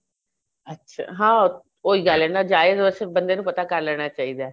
ਅੱਛਾ ਹਾਂ ਉਹੀ ਗੱਲ ਏ ਨਾ ਜਾਏ ਤਾਂ ਵੈਸੇ ਬੰਦੇ ਨੂੰ ਪਤਾ ਕਰ ਲੈਣਾ ਚਾਹੀਦਾ